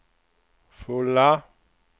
fulla